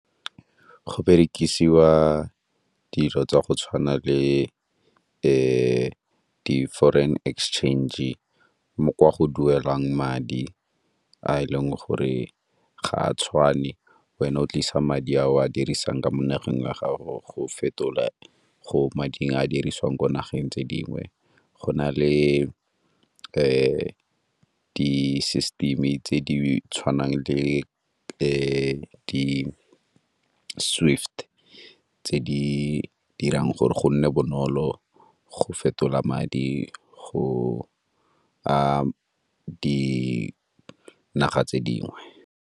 Go berekisiwa dilo tsa go tshwana le di-foreign exchange mo kwa go duelang madi a e leng gore ga a tshwane. Wena o tlisa madi a o a dirisang ka mo nageng wa gago go fetola go mading a dirisiwang ko nageng tse dingwe. Go na le di-system-e tse di tshwanang le di-swift tse di dirang gore go nne bonolo go fetola madi go a dinaga tse dingwe.